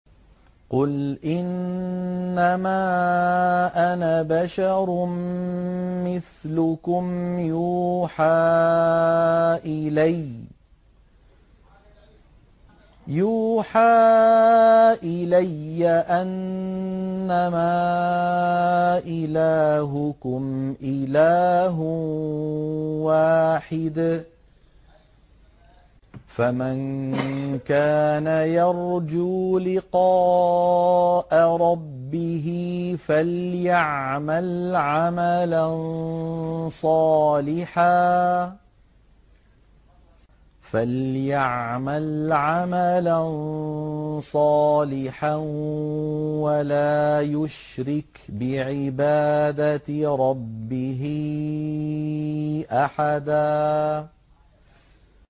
قُلْ إِنَّمَا أَنَا بَشَرٌ مِّثْلُكُمْ يُوحَىٰ إِلَيَّ أَنَّمَا إِلَٰهُكُمْ إِلَٰهٌ وَاحِدٌ ۖ فَمَن كَانَ يَرْجُو لِقَاءَ رَبِّهِ فَلْيَعْمَلْ عَمَلًا صَالِحًا وَلَا يُشْرِكْ بِعِبَادَةِ رَبِّهِ أَحَدًا